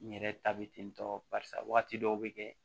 N yɛrɛ ta bɛ ten tɔ barisa wagati dɔw be kɛ